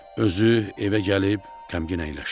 Özü evə gəlib qəmgin əyləşdi.